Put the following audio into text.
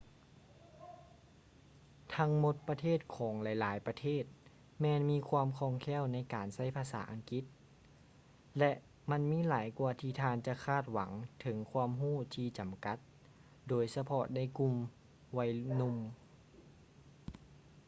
ທັງໝົດປະເທດຂອງຫຼາຍໆປະເທດແມ່ນມີຄວາມຄ່ອງແຄ້ວໃນການໃຊ້ພາສາອັງກິດ ແລະ ມັນຫຼາຍກວ່າທີ່ທ່ານຈະຄາດຫວັງເຖິງຄວາມຮູ້ທີ່ຈຳກັດ ໂດຍສະເພາະໃນກຸ່ມໄວໜຸ່ມ